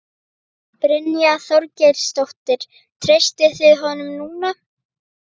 Brynja Þorgeirsdóttir: Treystið þið honum núna?